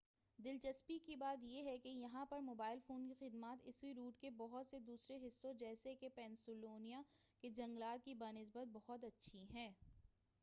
دلچسپی کی بات یہ ہے کہ یہاں پر موبائل فون کی خدمات اس روٹ کے بہت سے دوسرے حصوں جیسے کہ پنسلوانیا کے جنگلات کی بہ نسبت بہت اچھی ہیں